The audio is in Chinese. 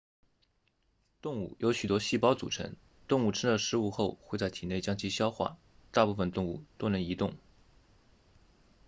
动物由许多细胞组成动物吃了食物后会在体内将其消化大部分动物都能移动